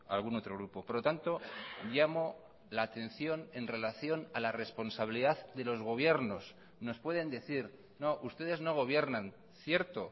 algún otro grupo por lo tanto llamo la atención en relación a la responsabilidad de los gobiernos nos pueden decir no ustedes no gobiernan cierto